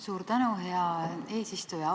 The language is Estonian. Suur tänu, hea eesistuja!